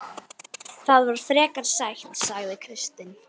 Það var frekar sætt, sagði Kristinn.